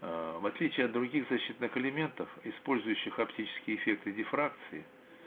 аа в отличие от других защитных элементов использующих оптические эффекты дифракции